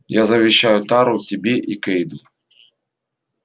я завещаю тару тебе и кэйду